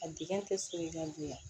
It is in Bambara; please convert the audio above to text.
A dege tɛ so ye i ka bonya